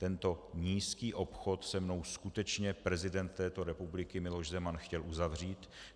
Tento nízký obchod se mnou skutečně prezident této republiky Miloš Zeman chtěl uzavřít.